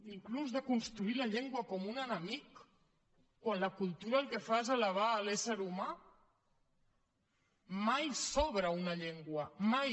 inclús de construir la llengua com un enemic quan la cultura el que fa és elevar l’ésser humà mai sobra una llengua mai